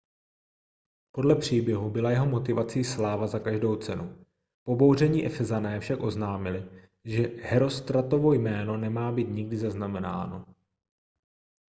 podle příběhu byla jeho motivací sláva za každou cenu pobouření efezané však oznámili že hérostratovo jméno nemá být nikdy zaznamenáno